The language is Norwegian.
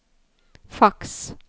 faks